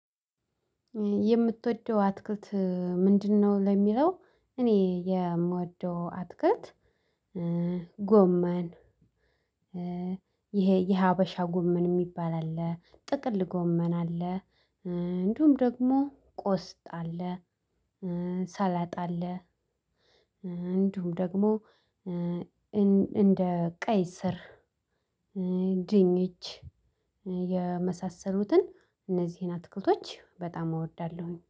የምትወደው አትክልት ምንድነው? ለሚለው እኔ የምወደው አትክልት ጎመን፣ ይሄ የሀበሻ ጎመን የሚባል አለ። ጥቅል ጎመና አለ፣ እንዲሁም ደግሞ ቆስጣ አለ። ሰላጣ አለ፣ እንዲሁም ደግሞ እንደ ቀይስር፣ ድንች የመሳሰሉትን እነዚህን አትክልቶች በጣም እወዳለሁኝ።